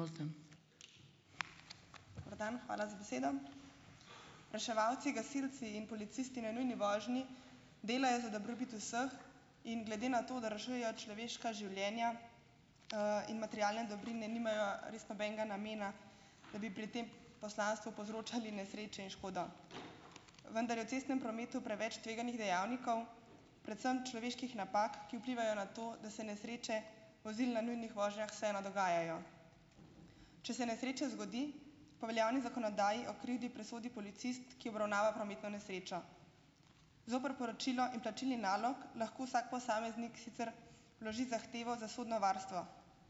Dober dan. Hvala za besedo. Reševalci, gasilci in policisti na nujni vožnji, delajo za dobrobit vseh in glede na to, da rešujejo človeška življenja, in materialne dobrine, nimajo res nobenega namena, da bi pri tem poslanstvu povzročali nesreče in škodo. Vendar je v cestnem prometu preveč tveganih dejavnikov, predvsem človeških napak, ki vplivajo na to, da se nesreče vozil na nujnih vožnjah vseeno dogajajo. Če se nesreča zgodi, po veljavni zakonodaji o krivdi presodi policist, ki obravnava prometno nesrečo. Zoper poročilo in plačilni nalog lahko vsak posameznik sicer vloži zahtevo za sodno varstvo.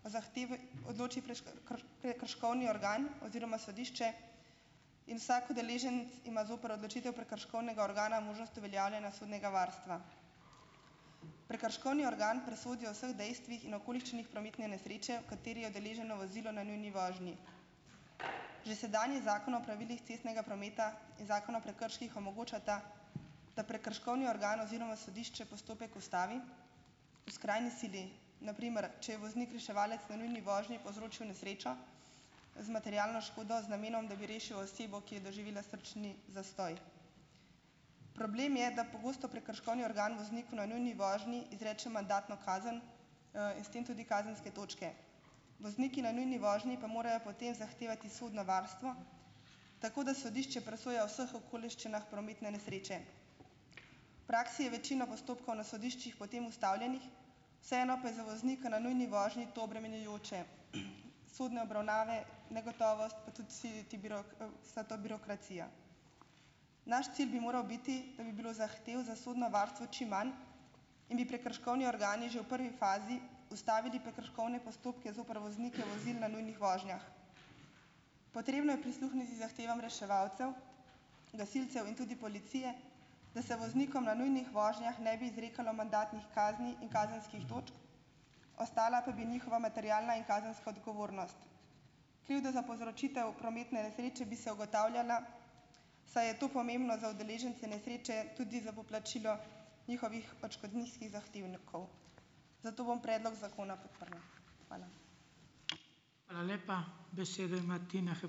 O zahtevi odloči prekrškovni organ oziroma sodišče in vsak udeleženec ima zoper odločitev prekrškovnega organa možnost uveljavljanja sodnega varstva. Prekrškovni organ presodi o vseh dejstvih in okoliščinah prometne nesreče, v kateri je udeleženo vozilo na nujni vožnji. Že sedanji Zakon o pravilih cestnega prometa in Zakon o prekrških omogočata, da prekrškovni organ oziroma sodišče postopek ustavi v skrajni sili, na primer, če je voznik reševalec na nujni vožnji povzročil nesrečo z materialno škodo z namenom, da bi rešil osebo, ki je doživela srčni zastoj. Problem je, da pogosto prekrškovni organ vozniku na nujni vožnji izreče mandatno kazen, in s tem tudi kazenske točke. Vozniki na nujni vožnji pa morajo potem zahtevati sodno varstvo tako, da sodišče presoja o vseh okoliščinah prometne nesreče. Praksi je večino postopkov na sodiščih potem ustavljenih, vseeno pa je za voznika na nujni vožnji to obremenjujoče, sodne obravnave, negotovost, pa tudi si ti vsa ta birokracija. Naš cilj bi moral biti, da bi bilo zahtev za sodno varstvo čim manj in bi prekrškovni organi že v prvi fazi ustavili prekrškovne postopke zoper voznike vozil na nujnih vožnjah. Potrebno je prisluhniti zahtevam reševalcev, gasilcev in tudi policije, da se voznikom na nujnih vožnjah ne bi izrekalo mandatnih kazni in kazenskih točk, ostala pa bi njihova materialna in kazenska odgovornost. Krivda za povzročitev prometne nesreče bi se ugotavljala, saj je to pomembno za udeležence nesreče tudi za poplačilo njihovih odškodninskih zahtevnikov. Zato bom predlog zakona podprla. Hvala.